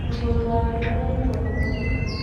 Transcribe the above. Mũthuri wake nĩanyitwo nĩ borithi